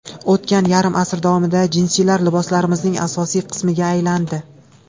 O‘tgan yarim asr davomida jinsilar liboslarimizning asosiy qismiga aylandi.